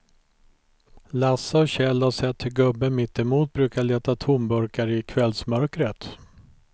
Lasse och Kjell har sett hur gubben mittemot brukar leta tomburkar i kvällsmörkret.